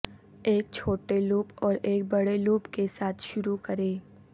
ایک چھوٹے لوپ اور ایک بڑے لوپ کے ساتھ شروع کریں